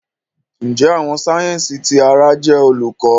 Njẹ Awọn sáyẹnsì ti àrà jẹ Olùkọ?